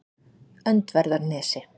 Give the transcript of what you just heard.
Öndverðarnesi